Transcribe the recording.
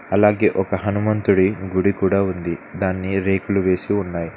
అలాగే ఒక హనుమంతుడి గుడి కూడా ఉంది దాన్ని రేకులు వేసి ఉన్నాయి.